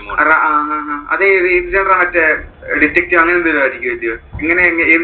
റാആ അഹ് അത് ഏത് മറ്റേ അഹ് detective അങ്ങനെ എന്തെങ്കിലും ആയിരിക്കും അല്ലിയോ. ഇങ്ങനെ ഏത്